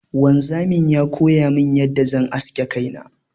Wanzamin ya koyamin yadda zan aske kaina.